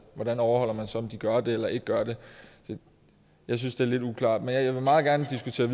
hvordan overholder man så om de gør det eller ikke gør det jeg synes det er lidt uklart men jeg vil meget gerne diskutere